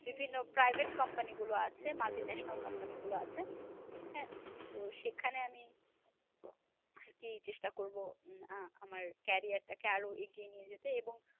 বিভিন্ন private company গুলো আছে multinational company গুলো আছে, হ্যাঁ? তো সেখানে আমি আরকি চেষ্টা করবো আহ আমার career টাকে আরও এগিয়ে নিয়ে যেতে এবং